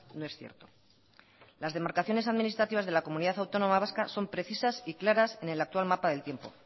no es cierto las demarcaciones administrativas de la comunidad autónoma vasca son precisas y claras en el actual mapa del tiempo